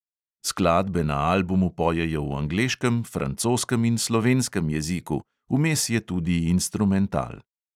Skladbe na albumu pojejo v angleškem, francoskem in slovenskem jeziku, vmes je tudi instrumental.